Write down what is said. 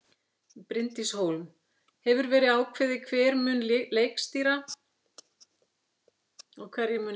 Bryndís Hólm: Hefur verið ákveðið hver mun leikstýra og hverjir munu leika?